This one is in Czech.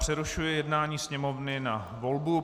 Přerušuji jednání Sněmovny na volbu.